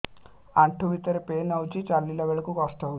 ଆଣ୍ଠୁ ଭିତରେ ପେନ୍ ହଉଚି ଚାଲିଲା ବେଳକୁ କଷ୍ଟ ହଉଚି